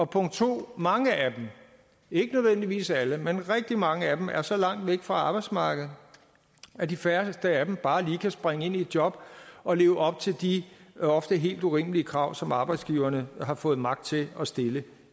punkt 2 mange af dem ikke nødvendigvis alle men rigtig mange af dem er så langt væk fra arbejdsmarkedet at de færreste af dem bare lige kan springe ind i et job og leve op til de ofte helt urimelige krav som arbejdsgiverne har fået magt til at stille